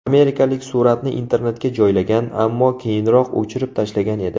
Amerikalik suratni internetga joylagan, ammo keyinroq o‘chirib tashlagan edi.